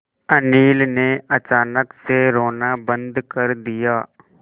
अनिल ने अचानक से रोना बंद कर दिया